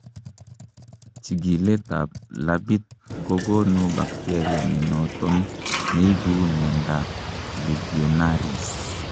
chikilet ab labit kogonu bacteria nenoton neibu miandap legionnaires